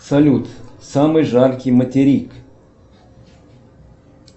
салют самый жаркий материк